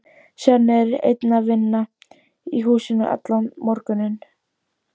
Svenni er einn að vinna í húsinu allan morguninn.